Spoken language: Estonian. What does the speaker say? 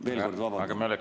Veel kord: vabandust!